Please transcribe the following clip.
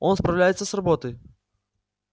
он справляется с работой